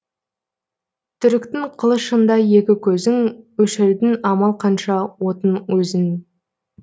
түріктің қылышындай екі көзің өшірдің амал қанша отын өзің